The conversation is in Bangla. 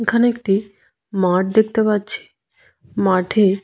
এখানে একটি মাঠ দেখতে পাচ্ছি মাঠে--